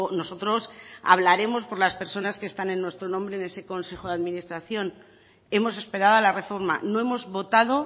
nosotros hablaremos por las personas que están en nuestro nombre en ese consejo de administración hemos esperado a la reforma no hemos votado